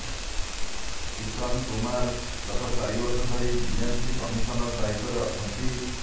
କ୍ରିଷନ୍ କୁମାର ଗତ ଚାରିବର୍ଷ ଧରି ବିଏମ୍ସି କମିସନର ଦାୟିତ୍ୱରେ ଅଛନ୍ତି